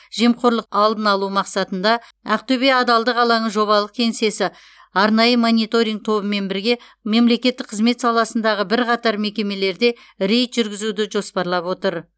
жемқорлықтың алдын алу мақсатында ақтөбе адалдық алаңы жобалық кеңсесі арнайы мониторинг тобымен бірге мемлекеттік қызмет саласындағы бірқатар мекемелерде рейд жүргізуді жоспарлап отыр